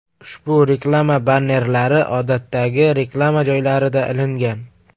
Ushbu reklama bannerlari odatdagi reklama joylarida ilingan.